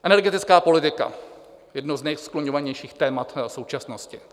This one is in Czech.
Energetická politika, jedno z nejskloňovanějších témat současnosti.